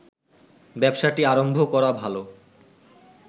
ব্যবসাটি আরম্ভ করা ভালো